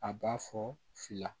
A b'a fɔ fila